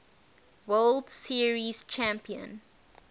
world series champion